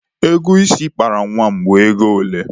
Ego isi ị kpara nwa m bụ ego ole?